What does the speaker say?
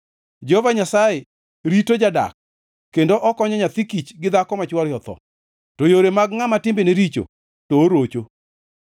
Jehova Nyasaye rito jadak kendo okonyo nyathi kich gi dhako ma chwore otho, to yore mag ngʼama timbene richo to orocho.